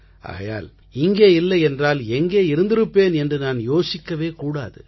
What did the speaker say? ஆகையால் இங்கே இல்லை என்றால் எங்கே இருந்திருப்பேன் என்று நான் யோசிக்கவே கூடாது